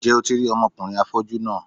Ǹjẹ́ o ti rí ọmọkùnrin afọ́jú náà?